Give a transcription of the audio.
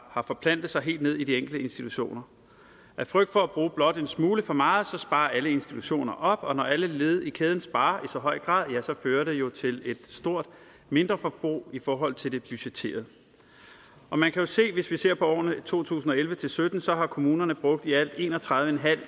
har forplantet sig helt ned i de enkelte institutioner af frygt for at bruge blot en smule for meget sparer alle institutioner op og når alle led i kæden sparer i så høj grad fører det jo til et stort mindreforbrug i forhold til det budgetterede man kan jo se hvis vi ser på årene to tusind og elleve til sytten at så har kommunerne brugt i alt en og tredive